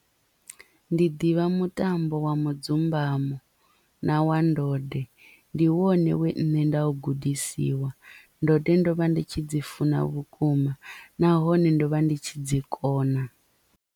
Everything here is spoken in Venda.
Ndi ḓivha mutambo wa mudzumbamo na wa ndode ndi wone we nṋe nda u gudisiwa ndode ndo vha ndi tshi dzi funa vhukuma nahone ndo vha ndi tshi dzi kona.